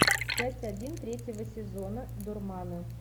часть один третьего сезона дурманы